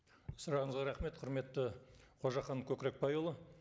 сұрағыңызға рахмет құрметті қожахан көкірекбайұлы